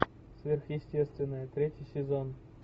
сверхъестественное третий сезон